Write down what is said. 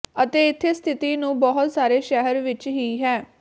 ਅਤੇ ਇੱਥੇ ਸਥਿਤੀ ਨੂੰ ਬਹੁਤ ਸਾਰੇ ਸ਼ਹਿਰ ਵਿਚ ਹੀ ਹੈ